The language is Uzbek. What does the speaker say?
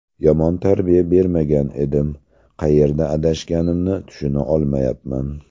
Yomon tarbiya bermagan edim, qayerda adashganimni tushuna olmayapman.